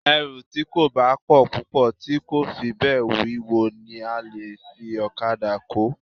Ẹrù tí kò bá pọ̀ púpọ̀ tí kò sì fi bẹ́ẹ̀ wíwo ni a lè fi okada kó